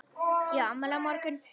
Ég á afmæli á morgun.